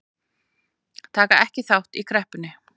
Taka ekki þátt í kreppunni